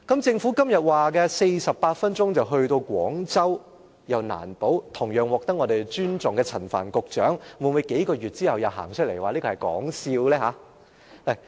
政府今天說48分鐘到達廣州，又難保同樣獲得尊重的陳帆局長，會否在數個月後又走出來說這個其實是說笑？